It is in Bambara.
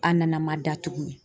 An nana ma da tuguni.